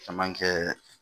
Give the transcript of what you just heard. Caman kɛ